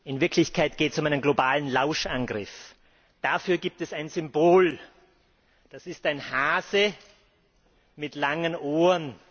In Wirklichkeit geht es um einen globalen Lauschangriff. Dafür gibt es ein Symbol, das ist ein Hase mit langen Ohren.